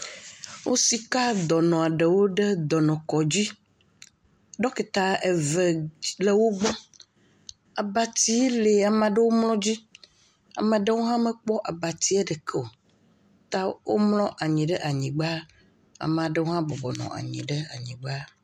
Wosika dɔnɔ ɖewo ɖe dɔnɔkɔdzi. Ɖekita eve le wo gbɔ. Abatsi li ame aɖewo mlɔ dzi, ame aɖewo hã womekpɔ abatsia ɖeke o ta womlɔ anyi ɖe anyigba, amea ɖewo hã bɔbɔ nɔ anyi ɖe anyigba.